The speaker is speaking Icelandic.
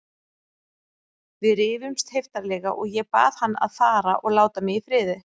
Við rifumst heiftarlega og ég bað hann að fara og láta mig í friði.